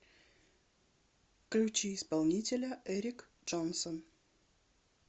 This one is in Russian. включи исполнителя эрик джонсон